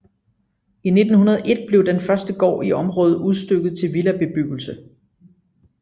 I 1901 blev den første gård i området udstykket til villabebyggelse